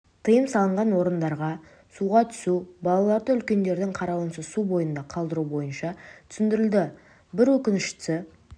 тыйым салынған орындарға суға түсу балаларды үлкендердің қарауынсыз су бойында қалдыруы бойынша түсіндірілді бір өкініштісі